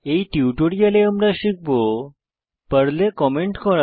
এই টিউটোরিয়ালে আমরা শিখব পর্লে কমেন্ট করা